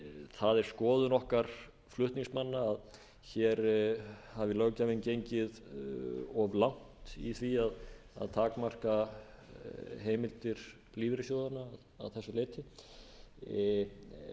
það er skoðun okkar flutningsmanna að hér hafi löggjafinn gengið of langt í því að takmarka heimildir lífeyrissjóðanna að þessu leyti